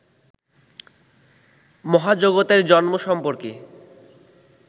মহাজগতের জন্ম সম্পর্কে